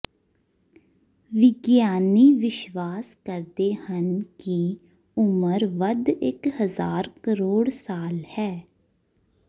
ਵਿਗਿਆਨੀ ਵਿਸ਼ਵਾਸ ਕਰਦੇ ਹਨ ਕਿ ਉਮਰ ਵੱਧ ਇੱਕ ਹਜ਼ਾਰ ਕਰੋੜ ਸਾਲ ਹੈ